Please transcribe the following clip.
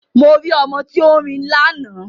Mo rí ọmọ tí ó ń rin lánàá